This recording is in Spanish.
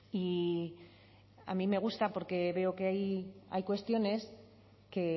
y a mí me gusta porque veo que hay cuestiones que